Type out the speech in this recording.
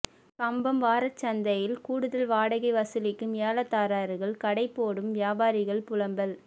கம்பம் வாரச்சந்தையில் கூடுதல் வாடகை வசூலிக்கும் ஏலதாரர்கள் கடை போடும் வியாபாரிகள் புலம்பல்